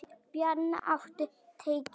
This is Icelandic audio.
Bjarnrún, áttu tyggjó?